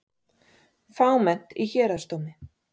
Fámennt í Héraðsdómi